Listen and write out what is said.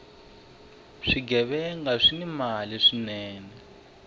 swighevenga swini mali swinene